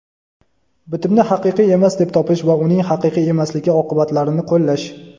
bitimni haqiqiy emas deb topish va uning haqiqiy emasligi oqibatlarini qo‘llash;.